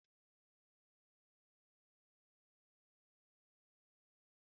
Ihe olilo dị ka akpu na amala ka eji eri ofe.